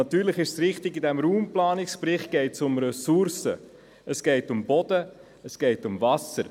Und sicher, in diesem Raumplanungsbericht geht es ja auch um Ressourcen, also um Boden und um Wasser.